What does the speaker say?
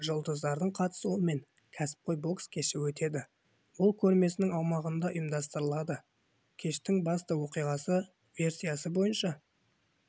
жұлдыздардың қатысуымен кәсіпқой бокс кеші өтеді ол көрмесінің аумағында ұйымдастырылады кештің басты оқиғасы версиясы бойынша